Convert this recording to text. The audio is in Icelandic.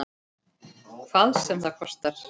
Hvað sem það kostar.